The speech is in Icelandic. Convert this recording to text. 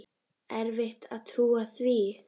Erfitt að trúa því.